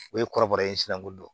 O ye kɔrɔbɔrɔ in sina ko dɔn